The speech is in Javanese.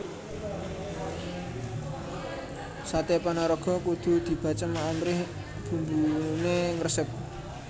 Saté Panaraga kudu dibacem amrih bumbune ngresep